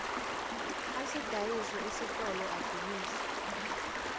asidayise isitolo adumise